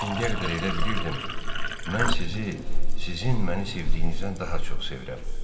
İndiyə qədər elə bilirdim, mən sizi, sizin məni sevdiyinizdən daha çox sevirəm.